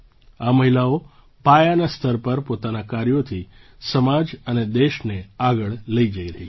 આ મહિલાઓ પાયાના સ્તર પર પોતાનાં કાર્યોથી સમાજ અને દેશને આગળ લઈ જઈ રહી છે